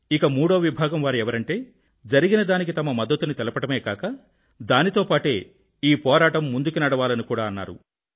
ఇక మూడో విభాగం వారు ఎవరంటే జరిగిన దానికి తమ మద్దతుని తెలపడమే గాక దానితో పాటే ఈ పోరాటం ముందుకు సాగాలని కూడా అన్నారు